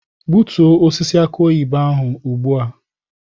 Gbutuo osisi aki oyibo ahụ ugbu a!